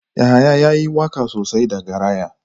Yahaya yayi waka sosai da garaya.